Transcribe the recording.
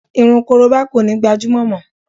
Irun korobá kò ní gbajúmọ̀ mọ